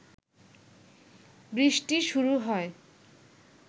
বৃষ্টি শুরু হয়